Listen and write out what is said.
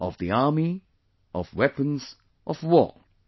... Of the army, of weapons, of war